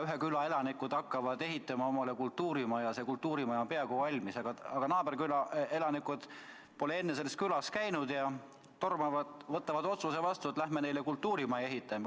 Ühe küla elanikud hakkavad ehitama omale kultuurimaja, ja kui kultuurimaja on peaaegu valmis, siis naaberküla elanikud, kes pole selles külas käinud, võtavad vastu otsuse, et lähme neile kultuurimaja ehitama.